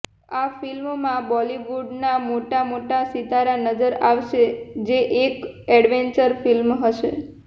આ ફિલ્મ માં બોલીવુડ ના મોટા મોટા સિતારા નજર આવશે જે એક એડવેન્ચર ફિલ્મ હશે